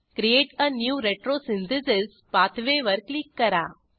create a new retrosynthesis pathway वर click करा